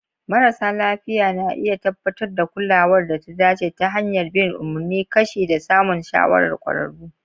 Marasa lafiya na iya tabbatar da kulawar da ta dace ta hanyar bin umarnin kashi da samun shawarar kwararru.